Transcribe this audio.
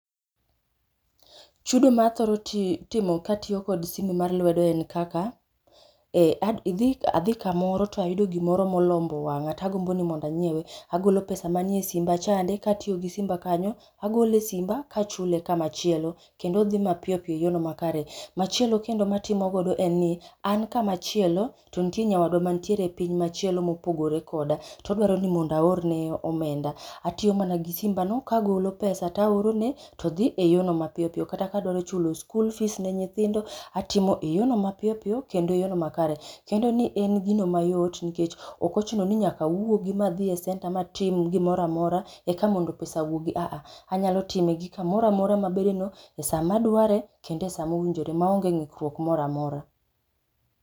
Chudo mathoro ti timo katiyo kod simu mar lwedo en kaka, ee ad idhi adhi kamoro to ayudo gimoro molombo wang'a. Tagombo ni monda nyiewe, agolo pesa manie simba chande katiyo gi simba kanyo. Agole simba kachule kamachielo, kendo odhi mapiyo piyop e yorno makare. Machielo kendo matimogodo en ni an kamachielo to ntie nyawadwa mantiere e piny machielo mopogore koda, todwaro ni mondo aorne omenda. Atiyo mana gi simba no kagolo pesa taorone to dhi e yorno mapiyo piyo. Kata kadwaro chul school fees ne nyithindo, atimo e yono ma piyo piyo kendo yono makare. Kendo ni en gino mayot nikech okochuno ni nyaka wuogi madhi e senta matim gimoramora eka mondo pesa wuogi. Aa, anyalo time gi kamoramora mabedeno , e sa madware kendo e sa mowinjore maonge ng'ikruok moramora.